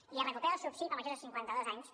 i es recupera el subsidi per majors de cinquanta dos anys